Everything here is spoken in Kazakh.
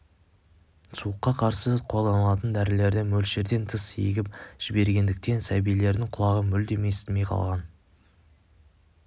суыққа қарсы қолданылатын дәрілерді мөлшерден тыс егіп жібергендіктен сәбилердің құлағы мүлдем естімей қалған